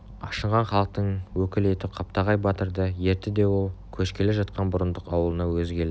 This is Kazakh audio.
ашынған халықтың өкілі етіп қаптағай батырды ертті де ол көшкелі жатқан бұрындық аулына өзі келді